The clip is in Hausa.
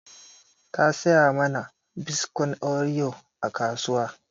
Ta saya mana biskon oreo a kasuwa